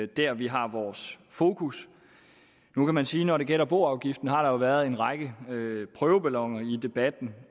der vi har vores fokus nu kan man sige når det gælder boafgiften har været en række prøveballoner i debatten